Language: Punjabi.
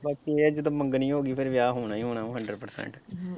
ਬਾਕੀ ਇਹ ਹੈ ਜਦੋਂ ਮੰਗਣੀ ਹੋ ਗਈ ਫਿਰ ਵਿਆਹ ਹੋਣਾ ਹੀ ਹੋਣਾ hundred percent.